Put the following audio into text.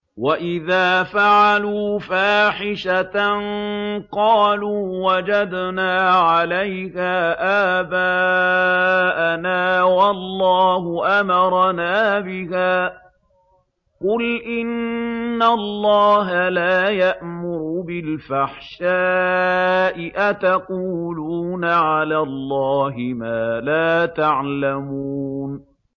وَإِذَا فَعَلُوا فَاحِشَةً قَالُوا وَجَدْنَا عَلَيْهَا آبَاءَنَا وَاللَّهُ أَمَرَنَا بِهَا ۗ قُلْ إِنَّ اللَّهَ لَا يَأْمُرُ بِالْفَحْشَاءِ ۖ أَتَقُولُونَ عَلَى اللَّهِ مَا لَا تَعْلَمُونَ